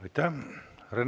Aitäh!